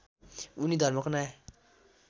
उनी धर्मको नयाँ